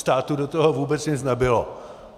Státu do toho vůbec nic nebylo.